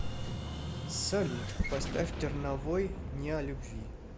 салют поставь терновой не о любви